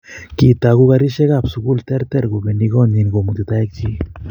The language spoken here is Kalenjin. Kitoku karisiek ab sukul terter kobendi konyin komuti toek chik.